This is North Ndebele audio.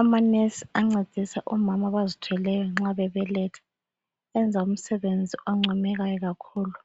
Amanesi ancedisa omama abazithweleyo nxa bebeletha enza umsebenzi oncomekayo kakhulu